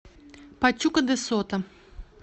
пачука де сото